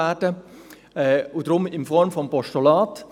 Deshalb ein Postulat.